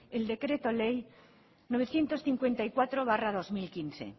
el decreto ley novecientos cincuenta y cuatro barra dos mil quince